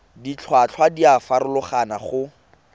ditlhotlhwa di a farologana go